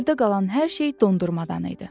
Yerdə qalan hər şey dondurmadan idi.